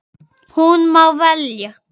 Hún má velja.